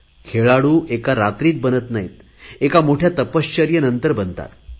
खेळाडू एका रात्रीत बनत नाहीत एका मोठया तपश्चर्येनंतर बनतात